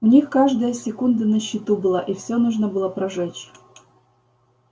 у них каждая секунда на счету была и всё нужно было прожечь